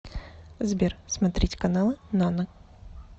сбер смотреть каналы нано